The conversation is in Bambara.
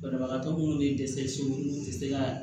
Banabagatɔ minnu bɛ dɛsɛ so n'u tɛ se ka